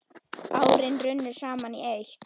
Árin runnu saman í eitt.